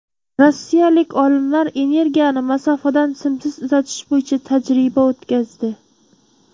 Rossiyalik olimlar energiyani masofadan simsiz uzatish bo‘yicha tajriba o‘tkazdi.